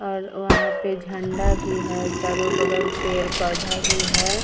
और वहाँ पे झंडा भी है चारों बगल पेड़-पौधा भी है।